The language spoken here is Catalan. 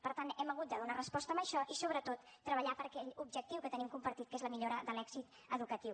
per tant hem hagut de donar resposta a això i sobretot treballar per aquell objectiu que tenim compartit que és la millora de l’èxit educatiu